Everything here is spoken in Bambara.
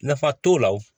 Nafa t'o la wo